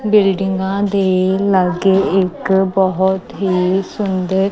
ਬਿਲਡਿੰਗਾਂ ਦੇ ਲਾਗੇ ਇੱਕ ਬਹੁਤ ਹੀ ਸੁੰਦਰ--